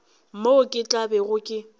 moo ke tla bego ke